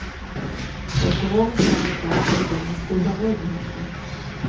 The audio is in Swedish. Och ekonomiskt har de japanska ungdomarna stora möjligheter.